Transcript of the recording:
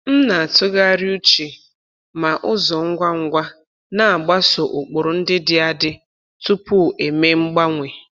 M na-atụgharị uche ma ụzọ ngwa ngwa na-agbaso ụkpụrụ ndị dị adị tupu eme mgbanwe.